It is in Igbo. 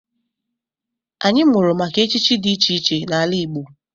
Anyị mụrụ maka echichi dị iche iche n'ala Igbo.